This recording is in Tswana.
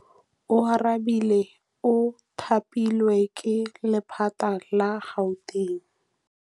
Oarabile o thapilwe ke lephata la Gauteng.